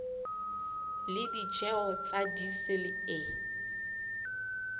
le ditjeho tsa diesel e